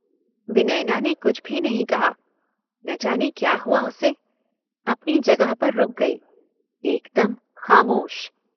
विनयना ने कुछ भी नहीं कहा। न जाने क्या हुआ उसे। अपनी जगह पर रुक गई। एक दम खामोश।